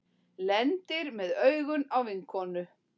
Lendir með augun á vinkonunni.